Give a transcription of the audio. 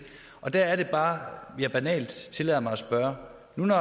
og der er det bare jeg banalt tillader mig at spørge når man